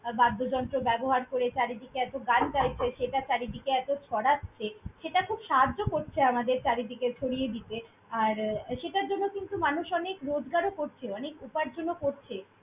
আর বাদ্যযন্ত্র ব্যবহার করে চারিদিকে এতো গান গাইছে। সেটা চারিদিকে এতো ছড়াচ্ছে, সেটা খুব সাহায্য করছে আমাদের চারিদিকে ছড়িয়ে দিতে। আর সেটার জন্য মানুষ অনেক রোজগার করছে। উপার্জনও করছে।